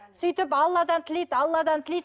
сөйтіп алладан тілейді алладан тілейді